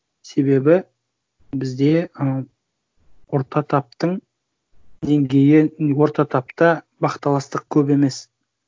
себебі бізде ы орта таптың деңгейі орта тапта бақталастық көп емес